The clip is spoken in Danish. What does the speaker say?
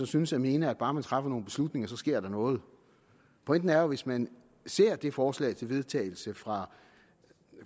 synes at mene at bare man træffer nogle beslutninger så sker der noget pointen er at hvis man ser det forslag til vedtagelse fra